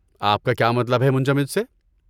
آپ کا کیا مطلب ہے منجمد سے؟